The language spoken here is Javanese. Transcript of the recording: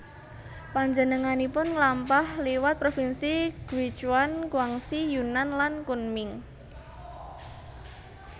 Panjenenganipun mlampah liwat provinsi Guichuan Guangxi Yunnan lan Kunming